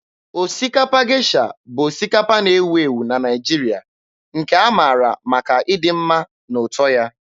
Osikapa Gesha bụ osikapa na-ewu ewu na Naịjirịa, nke a mara maka ịdị mma na ụtọ ya.